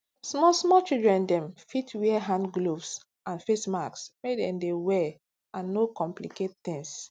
small small children dem fit wear hand gloves and face masks make dem dey well and no complicate tings